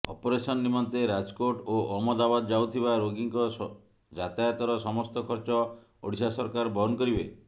operation ନିମନ୍ତେ ରାଜକୋଟ ଓ ଅହମ୍ମଦାବାଦ୍ ଯାଉଥିବା ରୋଗୀଙ୍କ ଯାତାୟତର ସମସ୍ତ ଖର୍ଚ୍ଚ ଓଡ଼ିଶା ସରକାର ବହନ କରିବେ